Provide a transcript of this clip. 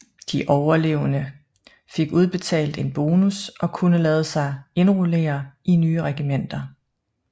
De overlevende fik udbetalt en bonus og kunne lade sig indrullere i nye regimenter